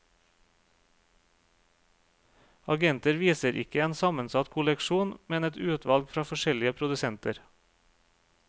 Agenter viser ikke en sammensatt kolleksjon, men et utvalg fra forskjellige produsenter.